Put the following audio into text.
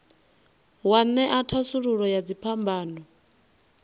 wa ṅea thasululo ya dziphambano